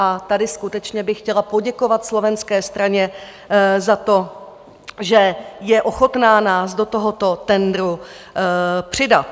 A tady skutečně bych chtěla poděkovat slovenské straně za to, že je ochotna nás do tohoto tendru přidat.